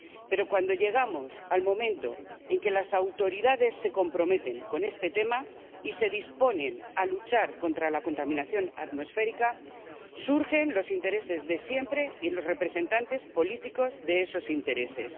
Pero cuando llegamos al momento en que las autoridades se comprometen con este tema y se disponen a luchar contra la contaminación atmosférica surgen los intereses de siempre y los representantes políticos de esos intereses.